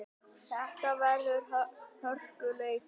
Þetta verður hörkuleikur!